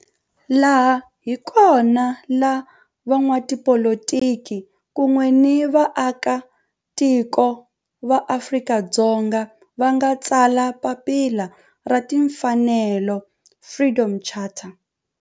Laha hi kona la van'watipolitiki kun'we ni vaaka tiko va Afrika-Dzonga va nga tsala papila ra timfanelo, Freedom Charter.